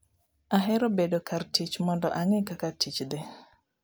Ahero bedo kar tich mondo ang'e kaka tich dhi.